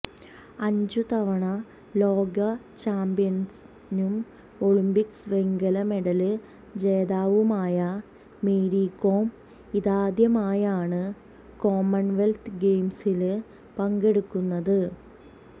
അഞ്ചു തവണ ലോക ചാമ്പ്യനും ഒളിമ്പിക്സ് വെങ്കല മെഡല് ജേതാവുമായ മേരി കോം ഇതാദ്യമായാണ് കോമണ്വെല്ത്ത് ഗെയിംസില് പങ്കെടുക്കുന്നത്